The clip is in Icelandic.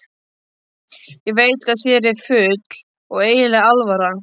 Ég veit að þér er full og einlæg alvara.